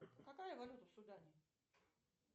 какая валюта в судане